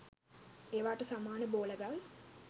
ඒවාට සමාන බෝල ගල්